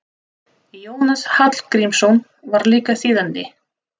Jónas Hallgrímsson var líka þýðandi.